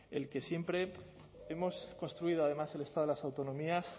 el que siempre hemos construido además el estado de las autonomías